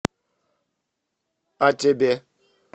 а тебе